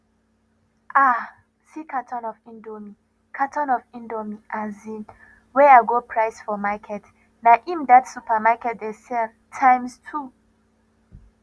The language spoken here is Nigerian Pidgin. um see carton of indomie carton of indomie um wey i go price for market na im that supermarket dey sell times two